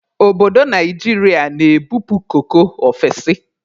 Obodo Naijiria na-ebupu koko ofesi.